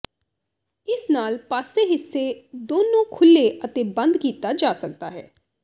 ਇਸ ਨਾਲ ਪਾਸੇ ਹਿੱਸੇ ਦੋਨੋ ਖੁੱਲ੍ਹੇ ਅਤੇ ਬੰਦ ਕੀਤਾ ਜਾ ਸਕਦਾ ਹੈ